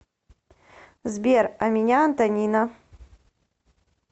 сбер а меня антонина